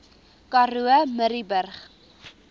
karoo murrayburg